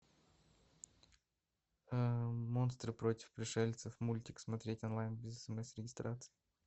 монстры против пришельцев мультик смотреть онлайн без смс и регистрации